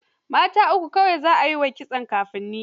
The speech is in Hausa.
Mata uku kawai za ai wa kitson kafin ni.